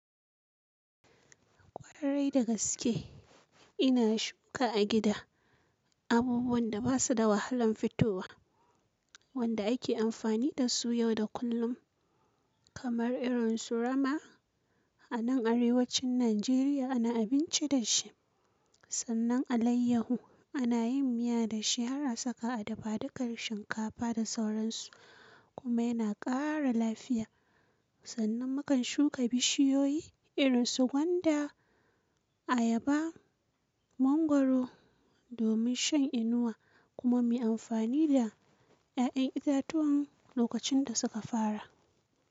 Kwarai da gaske ina shuka a gida abubuwan da basu da wahalan fitowa wanda ake amfani dasu yau da kullum kamar irin su rama. A nan Arewacin Najeriya ana abinci da shi. Sannan alaiyahu ana yin miya da shi har a saka a dafadukar shinkafa da sauransu kuma yana ƙara lafiya. Sannan mu kan shuka bishiyoyi irin su gwanda, ayaba, mangwaro domin shan inuwa kuma mu yi amfani da ‘ya’yan itatuwan lokacin da suka fara.